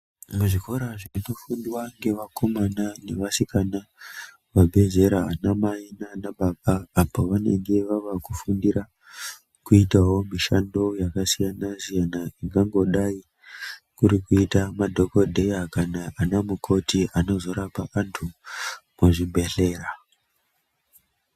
Muzvikora zviri kufundwa nevakomana nevasikana vabva zera vana mai nana baba apo pavanenge vakufundira kuitawo mishando yakasiyana siyana yakangodai kuti kuita madhokodheya ana mukoti anozorapa antu muzvibhedhlera.